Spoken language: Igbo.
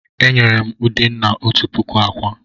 E nyere m Udenna òtù puku ákwà.